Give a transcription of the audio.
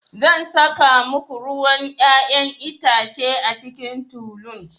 Zan saka muku ruwan 'ya'yan itace a cikin tulun.